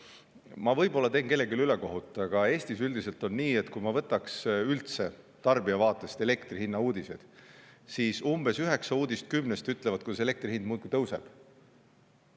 Ma teen võib-olla kellelegi ülekohut, aga Eestis on üldiselt nii, et kui ma võtaks uudised elektri hinna kohta tarbija vaatest, siis umbes üheksa uudist kümnest ütlevad, kuidas elektri hind muudkui tõuseb.